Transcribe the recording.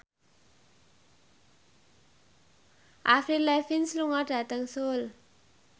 Avril Lavigne lunga dhateng Seoul